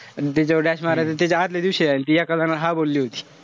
अन तिच्यावर dash मारला त्याच्या आदल्या दिवशी ती एका जनाला हाव बोलली होती.